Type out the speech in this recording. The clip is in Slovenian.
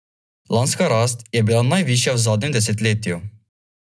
Lanska rast je bila najvišja v zadnjem desetletju.